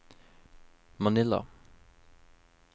Manila